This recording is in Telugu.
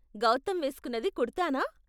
గౌతమ్ వేస్కున్నది కుర్తా నా?